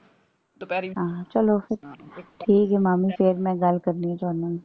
ਦੁਪਹਿਰੀ ਹਾਂ ਚਲੋ ਠੀਕ ਏ ਮਾਮੀ ਫੇਰ ਮੈਂ ਗੱਲ ਕਰਨੀ ਤੁਹਾਡੇ ਨਾਲ